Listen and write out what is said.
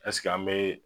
Ɛseke an bɛ